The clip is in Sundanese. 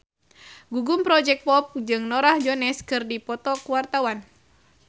Gugum Project Pop jeung Norah Jones keur dipoto ku wartawan